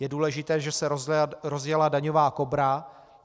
Je důležité, že se rozjela daňová Kobra.